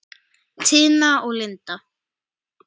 Tina og Linda.